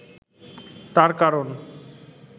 তার কারণ